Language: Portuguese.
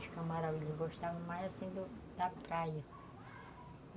Os, eles gostavam mais, assim, da praia.